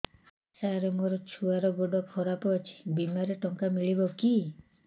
ସାର ମୋର ଛୁଆର ଗୋଡ ଖରାପ ଅଛି ବିମାରେ ଟଙ୍କା ମିଳିବ କି